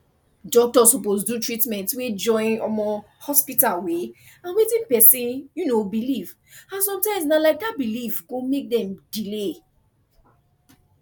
doctor suppose do treatment wey join um hospital way and wetin person um believe and sometimes na um that belief go make dem delay